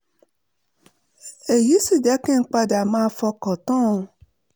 èyí sì jẹ́ kí n padà máa fọkàn tán an